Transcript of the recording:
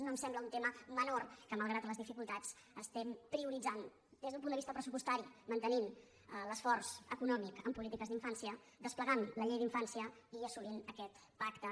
no em sembla un tema menor que malgrat les dificultats es·tem prioritzant des d’un punt de vista pressupostari mantenint l’esforç econòmic en polítiques d’infància desplegant la llei d’infància i assolint aquest pacte